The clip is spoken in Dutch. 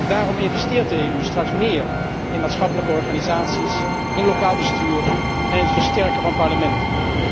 Daarom investeert de EU straks meer in maatschappelijke organisaties, in lokaal bestuur en in het versterken van parlementen.